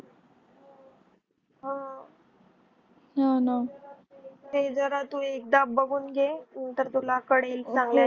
आह. . ते जरा तू एकदा बघून घे नंतर तुला कळेल चांगल्यानी